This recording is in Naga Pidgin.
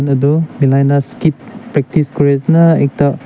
edu melaina skit practice kuriase na ekta--